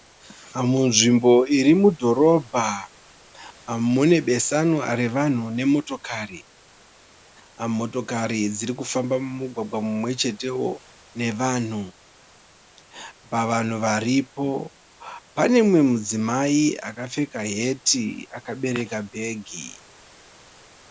Munzvimbo iri mudhorobha . Mune besanwa revanhu nemotokari. Motokari dzirikufamba mumugwagwa mumwechetewo nevanhu. Pavanhu varipo pane mumwe mudzimai akapfeka heti akabereka bhegi.